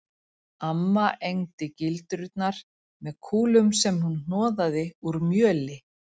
Amma egndi gildrurnar með kúlum sem hún hnoðaði úr mjöli